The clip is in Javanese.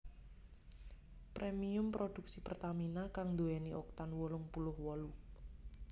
Premium produksi Pertamina kang nduwèni Oktan wolung puluh wolu